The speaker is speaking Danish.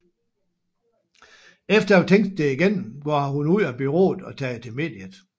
Efter at have tænkt det igennem går hun ud af bureauet og tager til mediet